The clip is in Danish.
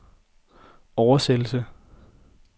oversættelse